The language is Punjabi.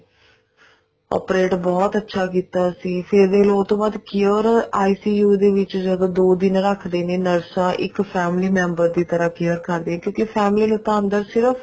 operate ਬਹੁਤ ਅੱਛਾ ਕੀਤਾ ਸੀ ਫ਼ੇਰ ਦੇਖਲੋ ਉਹ੍ਤੇ ਬਾਅਦ care ICU ਦੇ ਵਿੱਚ ਜਦੋਂ ਦੋ ਦਿਨ ਰੱਖਦੇ ਨੇ ਤਾਂ ਇੱਕ family member ਦੀ ਤਰ੍ਹਾਂ care ਕਰਦੇ ਕਿਉਂਕਿ family ਨੂੰ ਅੰਦਰ ਸਿਰਫ